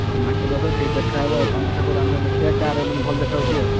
ହଉ market କୁ ଆସ ସେଇଠି ଦେଖା ହବ ତମ ଠାକୁର ଆମ ଠାକୁର କାହାର ମାନେ ଭଲ ଦେଖାଯାଉଛି ଆଉ।